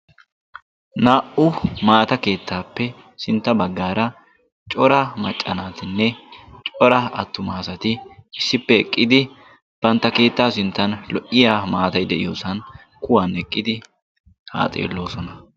Naa"u maata keettaappe sintta baggaara cora maccanaatinne cora attumaasati issippe eqqidi bantta keettaa sinttan lo"iya maatay de'iyoosan kuwan eqqidi haa xeelloosona.